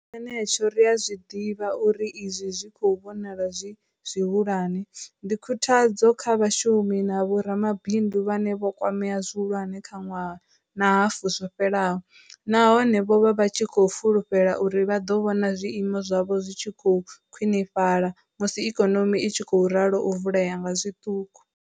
Tshenetsho ri a zwi ḓivha uri izwi zwi khou vhonalaho zwi zwihulwane, ndi khuthadzo kha vhashumi na vho ramabindu vhane vho kwamea zwi hulwane kha ṅwaha na hafu zwo fhelaho, nahone vho vha vha tshi khou fulufhela uri vha ḓo vhona zwiimo zwavho zwi tshi khou khwiṋifhala musi ikonomi i tshi khou ralo u vulea nga zwiṱuku.